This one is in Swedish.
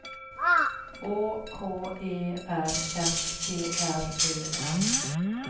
Å K E R S T R Ö M